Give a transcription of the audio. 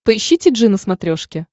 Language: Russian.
поищи ти джи на смотрешке